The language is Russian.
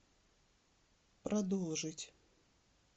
продолжить